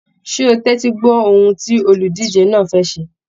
Ṣé o tẹtí gbọ ohùn tí oludije náà fẹ́ ṣé?